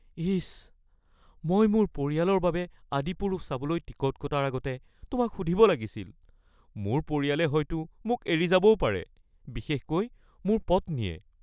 ইচ! মই মোৰ পৰিয়ালৰ বাবে ‘আদিপুৰুষ’ চাবলৈ টিকট কটাৰ আগতে তোমাক সুধিব লাগিছিল। মোৰ পৰিয়ালে হয়তো মোক এৰি যাবও পাৰে, বিশেষকৈ মোৰ পত্নীয়ে।